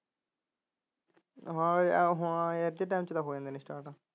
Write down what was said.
ਹਾਂ ਐਸੇ time ਚ ਤਾਂ ਹੋ ਜਾਂਦੇ ਨੇ ਸਟਾਰਟ